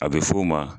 A bɛ f'o ma